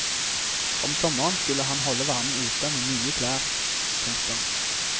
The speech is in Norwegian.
Om sommeren skulle han holde varmen ute med mye klær. punktum